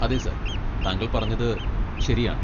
അതെ സർ, താങ്കൾ പറഞ്ഞത് ശരിയാണ്.